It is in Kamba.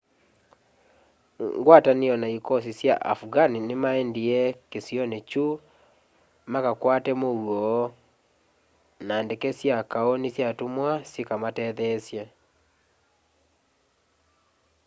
ngwatanio na ĩkosĩ sya afghan nĩmaendĩe kĩsĩonĩ kyũ makakwate mũũo na ndeke sya kaũ nĩsyatũmĩ syĩka matetheesye